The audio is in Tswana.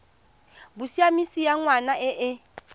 bosiamisi ya ngwana e e